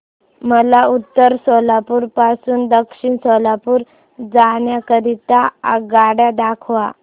मला उत्तर सोलापूर पासून दक्षिण सोलापूर जाण्या करीता आगगाड्या दाखवा